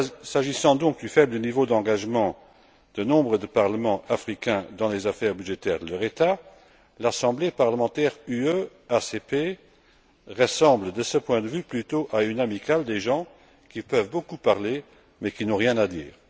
S'agissant donc du faible niveau d'engagement de nombre de parlements africains dans les affaires budgétaires de leur État, l'Assemblée parlementaire ACP UE ressemble de ce point de vue plutôt à une amicale de personnes qui peuvent beaucoup parler mais qui n'ont rien à dire.